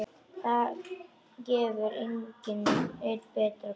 Það gefur enn betra bragð.